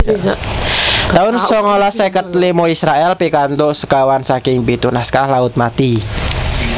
taun songolas seket limo Israèl pikantuk sekawan saking pitu naskah Laut Mati